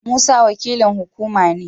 Musa wakilin hukumar ne.